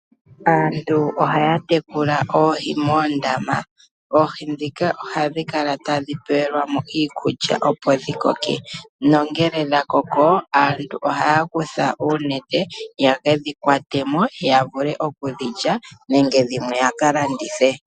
Aantu ohaya tekula oohi moondama. Oohi ndhika ohadhi kala tadhi pewelwa mo iikulya opo dhi koke. Nongele dhakoko aantu ohaya kutha uunete yekedhi kwate mo ya vule okudhi lya nenge dhimwe ya ka landithe.